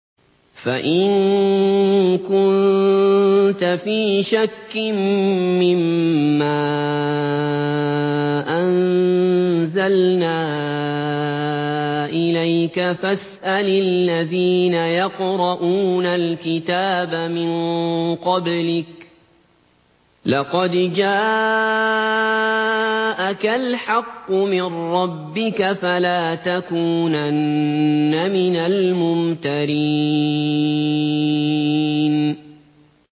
فَإِن كُنتَ فِي شَكٍّ مِّمَّا أَنزَلْنَا إِلَيْكَ فَاسْأَلِ الَّذِينَ يَقْرَءُونَ الْكِتَابَ مِن قَبْلِكَ ۚ لَقَدْ جَاءَكَ الْحَقُّ مِن رَّبِّكَ فَلَا تَكُونَنَّ مِنَ الْمُمْتَرِينَ